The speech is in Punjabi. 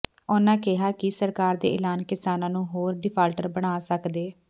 ਉਹਨਾ ਕਿਹਾ ਕਿ ਸਰਕਾਰ ਦੇ ਐਲਾਨ ਕਿਸਾਨਾ ਨੂੰ ਹੋਰ ਡਿਫਾਲਟਰ ਬਣਾ ਸਕਦੈ